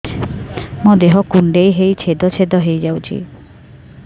ମୋ ଦେହ କୁଣ୍ଡେଇ ହେଇ ଛେଦ ଛେଦ ହେଇ ଯାଉଛି